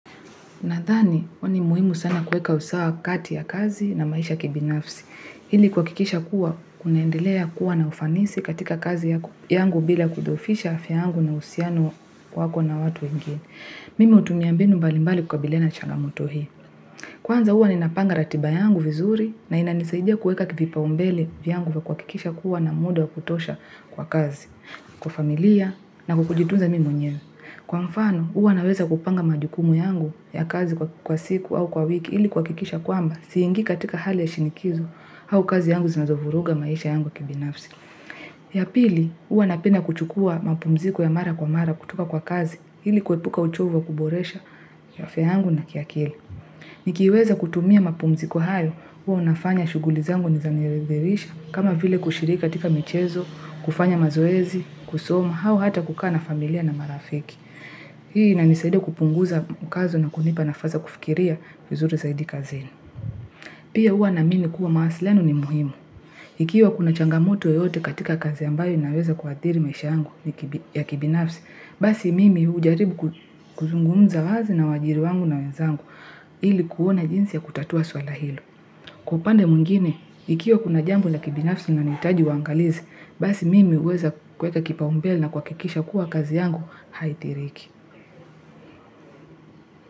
Nadhani ni muhimu sana kueka usawa kati ya kazi na maisha ya kibinafsi. Ili kuhakikisha kuwa, kunaendelea kuwa na ufanisi katika kazi yangu bila kudhohofisha afya yangu na uhusiano wako na watu wengine. Mimi hutumia mbinu mbalimbali kukabiliana na changamoto hii. Kwanza huwa ninapanga ratiba yangu vizuri na inanisaidia kuweka vipaumbele vyangu kwa kuhakikisha kuwa nina muda wa kutosha kwa kazi, kwa familia na kwa kujitunza mimi mwenyewe. Kwa mfano, huwa naweza kupanga majukumu yangu ya kazi kwa siku au kwa wiki ili kuhakikisha kwamba siingii katika hali ya shinikizo au kazi yangu zinazovuruga maisha yangu kibinafsi. Ya pili, huwa napenda kuchukua mapumziko ya mara kwa mara kutoka kwa kazi ili kuepuka uchovu wa kuboresha afya yangu na kiakili. Nikiweza kutumia mapumziko hayo, huwa nafanya shughuli zangu ni zanirithisha kama vile kushiriki katika michezo, kufanya mazoezi, kusoma au hata kukaa na familia na marafiki. Hii inanisaida kupunguza mkazo na kunipa nafasi ya kufikiria vizuri zaidi kazini. Pia huwa naamini kuwa mahusiano ni muhimu. Ikiwa kuna changamoto yoyote katika kazi ambayo naweza kuathiri maisha yangu ya kibinafsi, basi mimi hujaribu kuzungunza wazi na wajiri wangu na wenzangu ili kuona jinsi ya kutatua swala hilo. Kwa upande mwingine, ikiwa kuna jambo ya kibinafsi na inahitaji uangalizi, basi mimi uweza kuweka kipaumbele na kuhakikisha kuwa kazi yangu haithiriki.